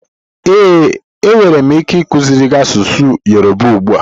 Ee, enwere m ike ikuziri gị asụsụ Yoruba ugbu a.